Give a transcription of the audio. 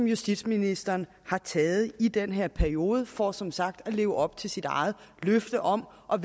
justitsministeren har taget i den her periode for som sagt at leve op til sit eget løfte om at